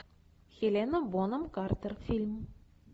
хелена бонем картер фильм